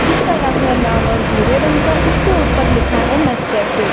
जिसका रंग है लाल और भूरे रंग का उसके ऊपर लिखा है नेस्कैफे ।